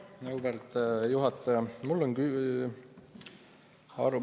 Auväärt juhataja!